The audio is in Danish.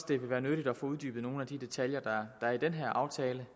det vil være nyttigt at få uddybet nogle af de detaljer der er i den her aftale